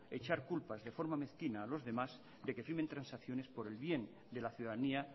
echar culpas de forma mezquina a los demás de que firmen transacciones por el bien de la ciudadanía